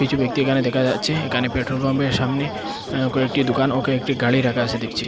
কিছু ব্যক্তি এখানে দেখা যাচ্ছে এখানে পেট্রোল পাম্পের সামনে অ্যা কয়েকটি দোকান ও কয়েকটি গাড়ি রাখা আসে দেখছি।